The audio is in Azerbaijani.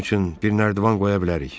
"Xanım üçün bir nərdivan qoya bilərik."